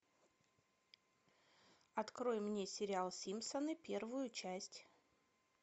открой мне сериал симпсоны первую часть